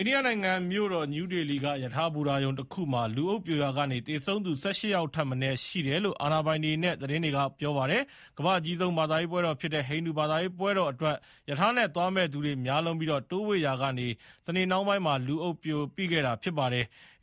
ိန္ဒိယနိုင်ငံ မြို့တော် နယူးဒေလီက ရထားဘူတာရုံတခုမှာ လူအုပ်ပြိုရာက သေဆုံးသူ ၁၈ ယောက်ထက်မနည်း ရှိတယ်လို့ အာဏာပိုင်တွေနဲ့ သတင်းတွေက ပြောပါတယ်။ ကမ္ဘာ့အကြီးဆုံး ဘာသာရေးပွဲတော်ဖြစ်တဲ့ ဟိန္ဒူဘာသာရေးပွဲတော်အတွက် ရထားနဲ့ သွားမယ့်သူတွေ များလွန်းပြီး တိုးဝှေ့ရာက စနေနေ့နှောင်းပိုင်းမှာ လူအုပ်ပိခဲ့တာ ဖြစ်ပါတယ်။